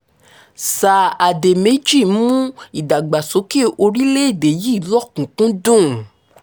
sír àdèméjì mú ìdàgbàsókè orílẹ̀‐èdè yìí lọ́kùn-ún-kúndùn